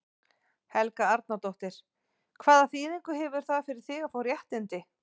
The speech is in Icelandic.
Helga Arnardóttir: Hvaða þýðingu hefur það fyrir þig að fá réttindi?